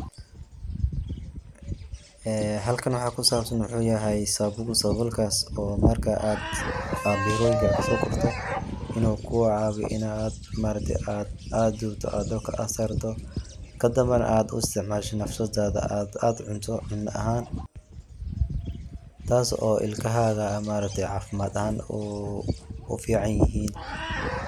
Ee halkan waxaa kusabsan waxuu yahay sabool saboolkaas oo marka aad beeroyinka kasogurto inu kugu caawiyo inaad ma aragte aad dubto aa dabka aa sarto kadambana aad u istcmaasho nafsadada aad u cunto cuno ahaan taas oo ilkahaaga ma ragte caafimad ahaan u ficanyihin.